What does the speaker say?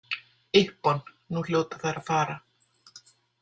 Ippon, nú hljóta þær að fara.